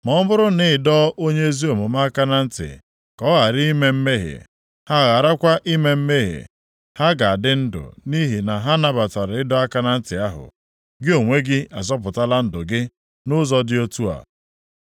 Ma ọ bụrụ na ị dọọ onye ezi omume aka na ntị ka ọ ghara ime mmehie, ha gharakwa ime mmehie, ha ga-adị ndụ nʼihi na ha nabatara ịdọ aka na ntị ahụ. Gị onwe gị azọpụtakwala ndụ gị, nʼụzọ dị otu a.”